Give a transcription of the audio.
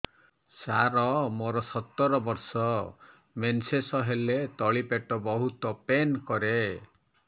ସାର ମୋର ସତର ବର୍ଷ ମେନ୍ସେସ ହେଲେ ତଳି ପେଟ ବହୁତ ପେନ୍ କରେ